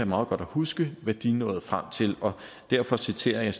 meget godt at huske hvad de nåede frem til og derfor citerer jeg